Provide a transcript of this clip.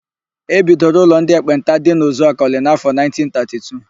E bidoro ụlọ ndị ekpenta dị na Uzuakọlị n'áfọ̀ 1932.